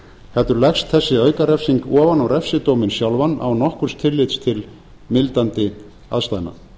heldur leggst þessi aukarefsing ofan á refsidóminn sjálfan án nokkurs tillits til mildandi aðstæðna